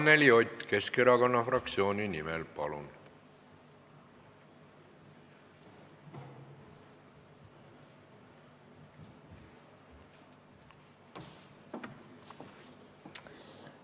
Anneli Ott Keskerakonna fraktsiooni nimel, palun!